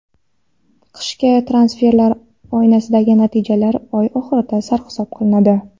Qishki transferlar oynasidagi natijalar oy oxirida sarhisob qilinadi.